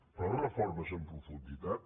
però reformes en profunditat